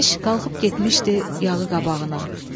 Yemiş qalxıb getmişdi yağı qabağına.